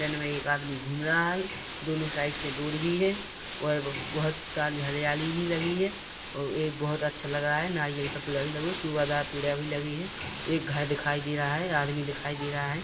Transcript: जंगल में एक आदमी घूम रहा है दोनों साइडस से रोड भी है और बहुत सारी हरियली भी लगी है और बहुत ही अच्छा लग रहा है नारियल का पेड़ भी लगी है सुभा दार पेड़ लगे हुए हैं एक घर दिखाई दे रहा है आदमी दिखाई दे रहा है।